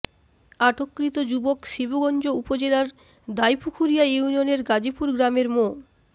আটককৃত যুবক শিবগঞ্জ উপজেলার দাইপুখুরিয়া ইউনিয়নের গাজীপুর গ্রামের মো